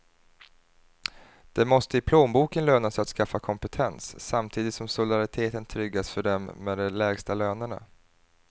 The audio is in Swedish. Det måste i plånboken löna sig att skaffa kompetens, samtidigt som solidariteten tryggas för dem med de lägsta lönerna.